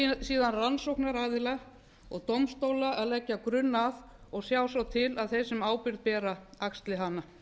það er síðan rannsóknaraðila og dómstóla að leggja grunn að og sjá svo til að þeir sem ábyrgð bera axli hana